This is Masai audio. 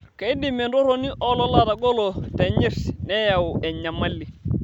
Keidim entoroni oolala atagolo nenyirt neyau enyamali.